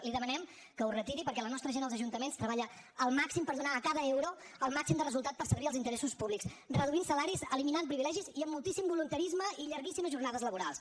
li demanem que ho retiri perquè la nostra gent als ajuntaments treballa al màxim per donar a cada euro el màxim de resultat per servir els interessos públics reduint salaris eliminant privilegis i amb moltíssim voluntarisme i llarguíssimes jornades laborals